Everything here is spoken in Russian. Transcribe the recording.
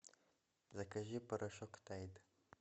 закажи порошок тайд